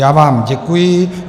Já vám děkuji.